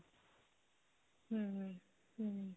ਹਮ ਹਮ